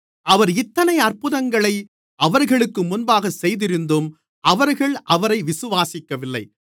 அவர் இத்தனை அற்புதங்களை அவர்களுக்கு முன்பாகச் செய்திருந்தும் அவர்கள் அவரை விசுவாசிக்கவில்லை